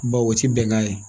Bawo o tɛ bɛnkan ye